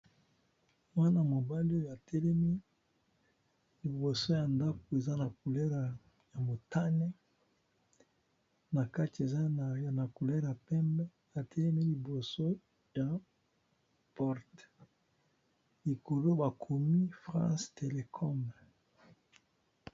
Mwana mobali oyo atelemi liboso ya ndako eza na couleur ya motane na kati eza na couleur pembe atelemi liboso ya porte likolo bakomi France telecom.